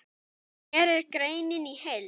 Hér er greinin í heild.